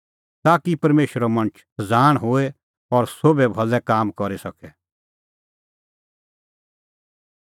ताकि परमेशरो मणछ सज़ाण होए और सोभै भलै काम करी सके